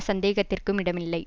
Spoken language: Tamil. சந்தேகத்திற்கும் இடமில்லை